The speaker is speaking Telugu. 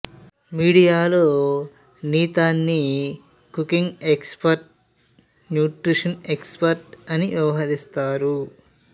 మీడియాలో నీతాని cooking expert nutrition expert అని వ్యవహరిస్తారు